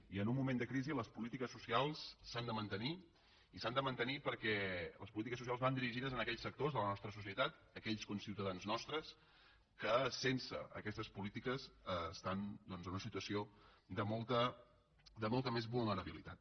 i en un moment de crisi les polítiques socials s’han de mantenir i s’han de mantenir perquè les polítiques socials van dirigides a aquells sectors de la nostra societat aquells conciutadans nostres que sense aquestes polítiques estan en una situació de molta més vulnerabilitat